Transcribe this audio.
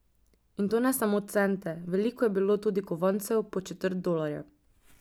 In to ne samo cente, veliko je bilo tudi kovancev po četrt dolarja.